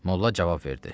Molla cavab verdi.